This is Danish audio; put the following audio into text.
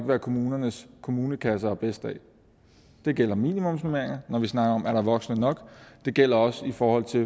hvad kommunernes kommunekasser har bedst af det gælder minimumsnormeringer når vi snakker om om der er voksne nok det gælder også i forhold til